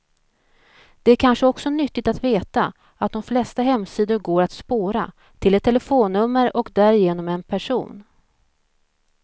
Det är kanske också nyttigt att veta att de flesta hemsidor går att spåra, till ett telefonnummer och därigenom en person.